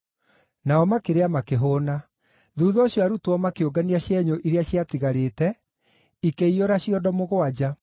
Nao makĩrĩa makĩhũũna. Thuutha ũcio arutwo makĩũngania cienyũ iria ciatigarĩte, ikĩiyũra ciondo mũgwanja.